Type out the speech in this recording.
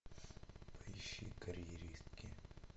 поищи карьеристки